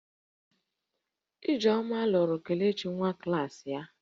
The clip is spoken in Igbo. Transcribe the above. Ijeoma lụrụ Kelechi nwa klaasị ya